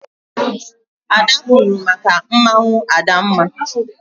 Ada kwuuru maka mmanwụ Adamma.